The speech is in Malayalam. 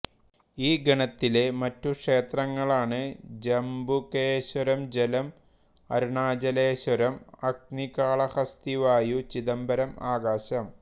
ഈ ഗണത്തിലെ മറ്റു ക്ഷേത്രങ്ങളാണ് ജംബുകേശ്വരംജലം അരുണാചലേശ്വരംഅഗ്നി കാളഹസ്തിവായു ചിദംബരംആകാശം